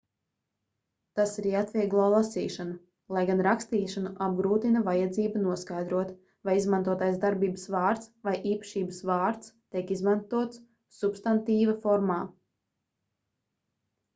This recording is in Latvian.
tas arī atvieglo lasīšanu lai gan rakstīšanu apgrūtina vajadzība noskaidrot vai izmantotais darbības vārds vai īpašības vārds tiek izmantots substantīva formā